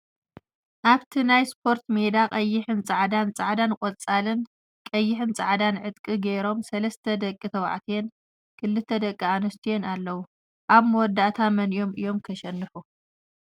ኣብቲ ናይ ስፖርት ሜዳ ቀይሕን ፃዕዳን፣ ፃዕዳን ቆፃልን ቀይሕን ፃዕዳን ዕጥቂ ገይሮም ሰለስተ ደቂ ተባዕትዮን ክልተ ደቂ ኣነስትየን ኣለዉ፡፡ ኣብ መወዳእታ መነነኦም እዮም ከሸንፉ?